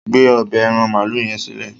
gbé ọbẹ́ aràn maalu yen silẹ!